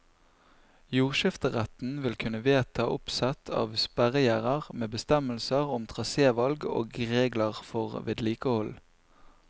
Jordskifteretten vil kunne vedta oppsett av sperregjerder med bestemmelser om trasevalg og regler for vedlikehold.